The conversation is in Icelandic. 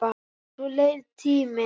Svo leið tíminn.